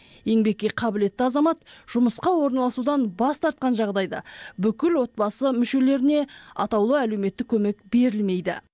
еңбекке қабілетті азамат жұмысқа орналасудан бас тартқан жағдайда бүкіл отбасы мүшелеріне атаулы әлеуметтік көмек берілмейді